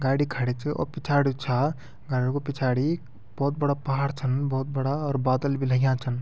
गाड़ी खड़ी च और पिछाड़ी जु छा गाडिक पिछाड़ी भौत बडा पहाड छन भौत बडा अर बादल बि लग्या छन ।